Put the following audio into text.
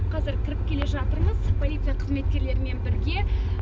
қазір кіріп келе жатырмыз полиция қызметкерлерімен бірге